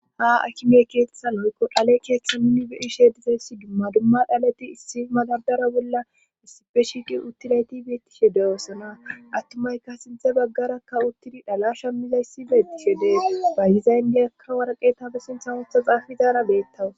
ha akimey keetetha woykko dhale keeththa nunni beyishe dizayssi dumma dumma dhalati issi magadara bolla issipe shiiqe uttilayti beettishe deyoossona attumayka sinthe baggarakka uttidi dhalashammizayssi beettishe dees bayyizayndiyakka waraqetafesintha wotha xaafizaara beettawus